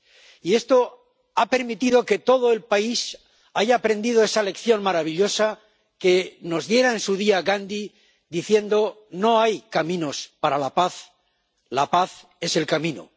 Y esto ha permitido que todo el país haya aprendido esa lección maravillosa que nos diera en su día Gandhi diciendo No hay camino para la paz, la paz es el camino.